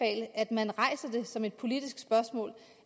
at man rejser det som et politisk spørgsmål